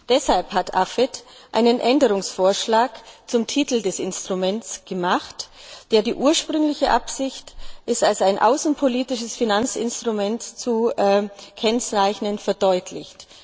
Deshalb hat AFET einen Änderungsvorschlag zum Titel des Instruments gemacht, der die ursprüngliche Absicht, es als ein außenpolitisches Finanzinstrument zu kennzeichnen, verdeutlicht.